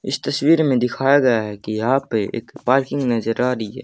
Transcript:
इस तस्वीर में दिखाया गया है कि यहां पे एक पार्किंग नजर आ रही है।